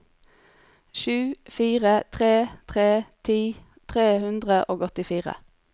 sju fire tre tre ti tre hundre og åttifire